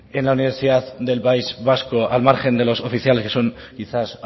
en la universidad del país vasco al margen de los oficiales que son quizás